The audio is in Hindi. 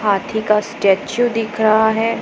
हाथी का स्टेचू दिख रहा है।